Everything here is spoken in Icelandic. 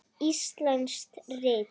Íslensk rit